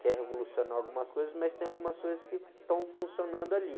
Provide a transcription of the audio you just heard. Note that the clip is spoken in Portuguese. quer revolucionar algumas coisas, mas tem algumas coisas que estão funcionando ali.